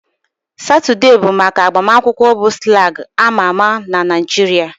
Saturday bụ maka agbamakwụkwọ bụ slang amaa ama na Nigeria